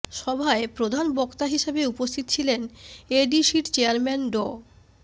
সভায় প্রধান বক্তা হিসেবে উপস্থিত ছিলেন এডিসির চেয়ারম্যান ড